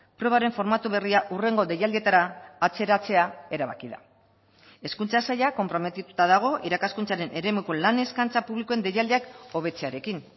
probaren formatu berria hurrengo deialdietara atzeratzea erabaki da hezkuntza saila konprometituta dago irakaskuntzaren eremuko lan eskaintza publikoen deialdiak hobetzearekin